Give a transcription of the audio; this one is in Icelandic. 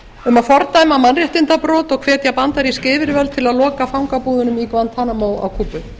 um að fordæma mannréttindabrot og hvetja bandarísk yfirvöld til að loka fangabúðunum í guantanamo á kúbu